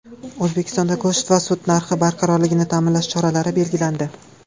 O‘zbekistonda go‘sht va sut narxi barqarorligini ta’minlash choralari belgilandi.